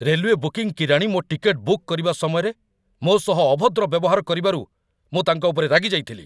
Railway booking କିରାଣୀ ମୋ ticket book କରିବା ସମୟରେ ମୋ ସହ ଅଭଦ୍ର ବ୍ୟବହାର କରିବାରୁ ମୁଁ ତାଙ୍କ ଉପରେ ରାଗି ଯାଇଥିଲି।